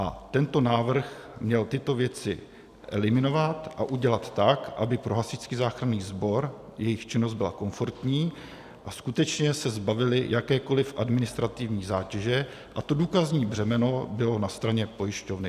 A tento návrh měl tyto věci eliminovat a udělat tak, aby pro Hasičský záchranný sbor jejich činnost byla komfortní a skutečně se zbavili jakékoli administrativní zátěže a to důkazní břemeno bylo na straně pojišťovny.